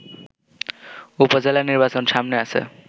উপজেলা নির্বাচন সামনে আছে